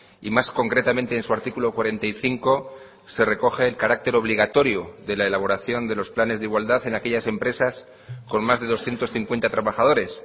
y más concretamente en su artículo cuarenta y cinco se recoge el carácter obligatorio de la elaboración de los planes de igualdad en aquellas empresas con más de doscientos cincuenta trabajadores